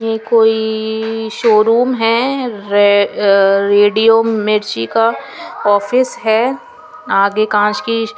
ये कोईई ई शो रूम हैं रे अ रेडियो मिर्ची का ऑफिस हैं आगे कांच की --